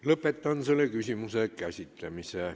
Lõpetan selle küsimuse käsitlemise.